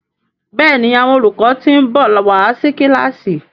Béèni Àwọn olùkọ tin nbọ wá sí kilasi.